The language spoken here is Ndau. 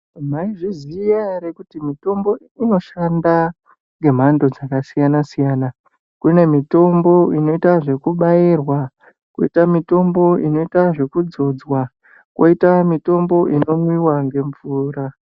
Maizviziva here kuti mutombo unoshanda nemhando dzakasiyana siyana. Kune mitombo inoita zvekubairwa kwoita mitombo inoita zvekudzodzwa koita mitombo inomwiwa ngemvura.